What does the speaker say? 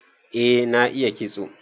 Eh na iya kitso.